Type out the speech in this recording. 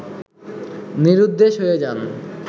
নিরুদ্দেশ হয়ে যান